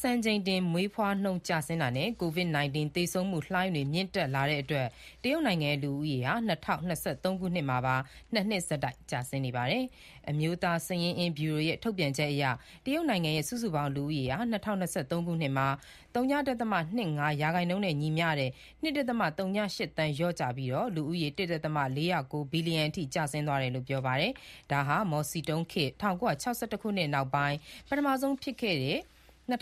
စံချိန်တင်မွေးဖွားနှုန်းနိမ့်ကျဆင်းတာနဲ့ COVID-19 သေဆုံးမှုလှိုင်းတွေ မြင့်တက်လာတဲ့အတွက် တရုတ်နိုင်ငံရဲ့ လူဦးရေဟာ ၂၀၂၃ ခုနှစ်မှာပါ ၂ နှစ်ဆက်တိုက်ကျဆင်းနေပါတယ်။ အမျိုးသားစာရင်းအင်းဗျူရိုရဲ့ ထုတ်ပြန်ချက်အရ တရုတ်နိုင်ငံရဲ့ စုစုပေါင်း လူဦးရေဟာ ၂၀၂၃ ခုနှစ်မှာ ၀.၂၅% နဲ့ ညီမျှတဲ့ ၂.၀၈ သန်း လျော့ကျပြီး လူဦးရေ ၁.၄၀၉ ဘီလီယံအထိ ကျဆင်းသွားတယ်လို့ ပြောပါတယ်။ ဒါဟာ မော်စီတုံးလက်ထက် ၁၉၆၁ ခုနှစ်မှာ ငတ်မွတ်ခေါင်းပါးမှုကြီးနဲ့ ရင်ဆိုင်ခဲ့ရပြီးနောက်ပိုင်း ၂၀၂